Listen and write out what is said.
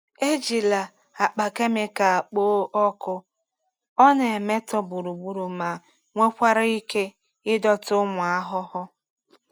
Ejila akpa kemịkal kpoo ọkụ, ọ na-emetọ gburugburu ma nwekwara ike ịdọta ụmụ ahụhụ.